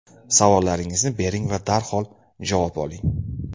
Savollaringizni bering va darhol javob oling.